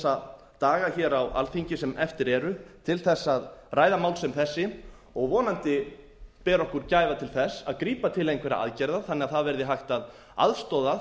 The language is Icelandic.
þessa daga hér á alþingi sem eftir eru til þess að ræða mál sem þessi og vonandi berum við gæfu til þess að grípa til einhverra aðgerða þannig að það verði hægt að aðstoða